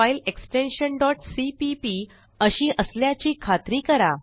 file extension cpp अशी असल्याची खात्री करा